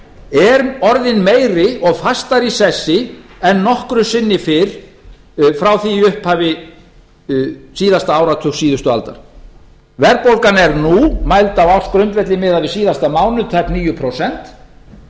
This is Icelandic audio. er orðin meiri og fastari í sessi en nokkru sinni fyrr frá því í upphafi síðasta áratugs síðustu aldar verðbólgan er nú mæld á ársgrundvelli miðað við síðasta mánuð tæp níu prósent og það